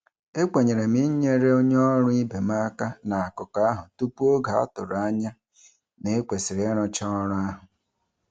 E kwenyere m inyere onye ọrụ ibe m aka n'akụkọ ahụ tupu oge a tụrụ anya na e kwesịrị ịrụcha ọrụ ahụ.